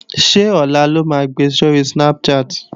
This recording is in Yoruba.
Ṣé ọ̀la lo máa gbe sóri Snapchat?